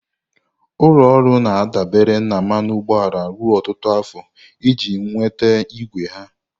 Ụlọ ọrụ na-adabere na mmanụ ụgbọala ruo ọtụtụ afọ iji nweta igwe ha.